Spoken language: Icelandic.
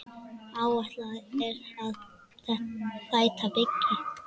Áætlað er að þétta byggð.